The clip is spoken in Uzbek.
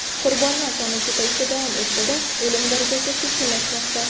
Qurbonlar soni ko‘payishda davom etsa-da, o‘lim darajasi sekinlashmoqda.